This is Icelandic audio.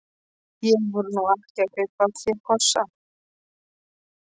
Ég var nú ekki að kaupa af þér kossa.